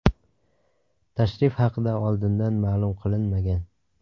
Tashrif haqida oldindan ma’lum qilinmagan.